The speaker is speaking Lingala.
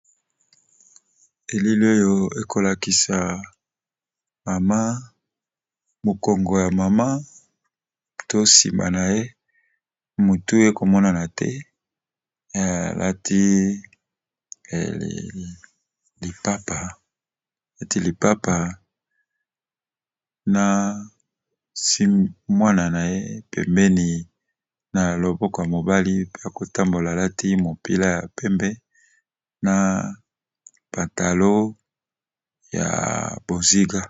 Elili oyo ekolakisa mama mokongo ya mama to nsima na ye. Motu ekomonana te. Alati lipapa na asimbi mwana na ye pembeni na loboko ya mobali ba kotambola. Alati mopila ya pembe na patalo ya bozinga.